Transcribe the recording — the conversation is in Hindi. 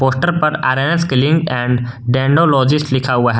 पोस्टर पर आर_एन_स क्लीनिक एंड डैनोलॉजिस्ट लिखा हुआ हैं।